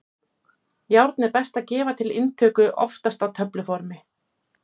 Járn er best að gefa til inntöku, oftast á töfluformi.